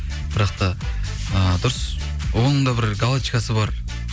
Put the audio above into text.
бірақ та ыыы дұрыс оның да бір галочкасы бар